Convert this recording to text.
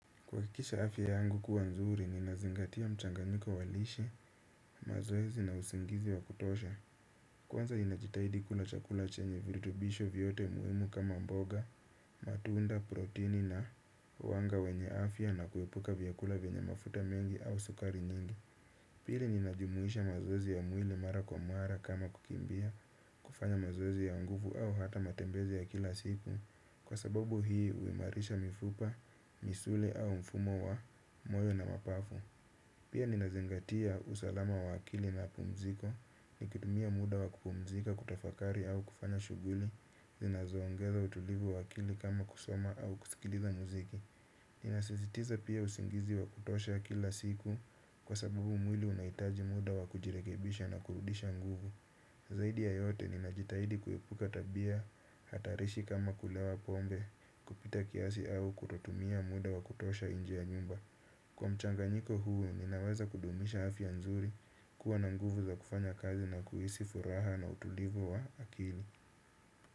Kuhakikisha afya yangu kuwa nzuri, nina zingatia mchanganyiko walishe, mazoezi na usingizi wa kutosha. Kwanza nina jitahidi kula chakula chenye virutubisho vyote muhimu kama mboga, matunda, protini na wanga wenye afya na kuepuka vyakula vyenye mafuta mengi au sukari nyingi. Pili nina jumuisha mazoezi ya mwili mara kwa mara kama kukimbia kufanya mazoezi ya nguvu au hata matembezi ya kila siku. Kwa sababu hii huimarisha mifupa, misuli au mfumo wa moyo na mapafu. Pia nina zingatia usalama wa akili na pumziko. Nikitumia muda wa kupumzika kutafakari au kufanya shughuli zinazo ongeza utulivu wa akili kama kusoma au kusikiliza muziki. Nina sisitiza pia usingizi wa kutosha kila siku. Kwa sababu mwili unahitaji muda wa kujirekebisha na kurudisha nguvu. Zaidi ya yote nina jitahidi kuepuka tabia hatarishi kama kulewa pombe. Pita kiasi au kutotumia muda wa kutosha inje ya nyumba kwa mchanganyiko huu ninaweza kudumisha afya nzuri. Kuwa na nguvu za kufanya kazi na kuhisi furaha na utulivu wa akili.